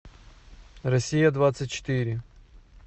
россия двадцать четыре